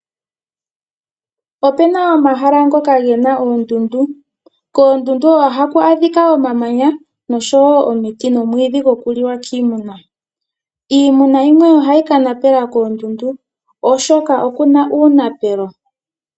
Opena omahala ngoka gena oondundu. Koondundu ohaku adhika omamanya nosho wo omiti, nomwiidhi goku liwa kiimuna. Iimuna yimwe oha yi kanapela koondundu shaashi okuna uunapelo.